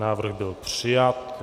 Návrh byl přijat.